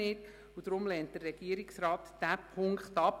Deshalb lehnt der Regierungsrat diesen Punkt ab.